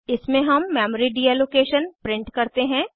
इसमें हम memory deallocation print करते हैं